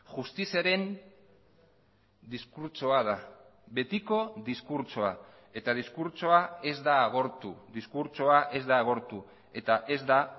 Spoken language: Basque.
justiziaren diskurtsoa da betiko diskurtsoa eta diskurtsoa ez da agortu diskurtsoa ez da agortu eta ez da